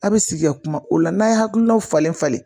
A bɛ sigi ya kuma o la n'a ye hakilinaw falen falen